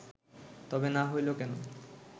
তবে না হইল কেন